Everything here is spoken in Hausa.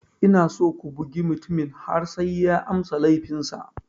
Ina so ku bugi mutumin har sai ya amsa laifinsa.